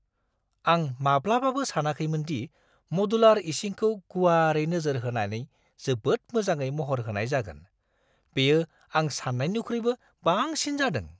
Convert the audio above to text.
आं माब्लाबाबो सानाखैमोन दि मदुलार इसिंखौ गुवारै नोजोर होनानै जोबोद मोजाङै महर होनाय जागोन। बेयो आं सान्नायनिख्रुइबो बांसिन जादों!